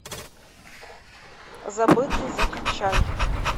забытый закачай